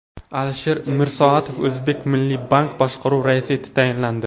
Alisher Mirsoatov O‘zmilliybank boshqaruvi raisi etib tayinlandi.